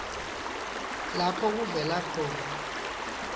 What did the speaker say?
lapho kuvela khona